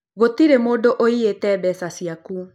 Gũtirĩ mũndũ ũĩyite mbeca ciaku